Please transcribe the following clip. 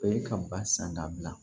O ye ka ba san ka bila